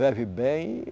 Vive bem.